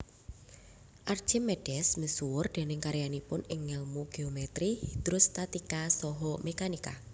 Archimedes misuwur déning karyanipun ing ngèlmu geometri hidrostatika saha mekanika